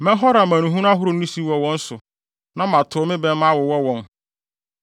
“Mɛhɔre amanehunu ahorow no siw wɔ wɔn so na matow me bɛmma awowɔ wɔn.